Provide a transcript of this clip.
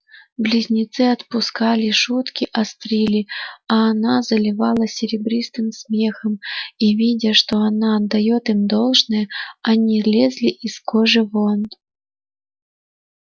близнецы отпускали шутки острили а она заливалась серебристым смехом и видя что она отдаёт им должное они лезли из кожи вон